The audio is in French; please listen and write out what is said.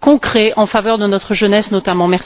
concrets en faveur de notre jeunesse, notamment.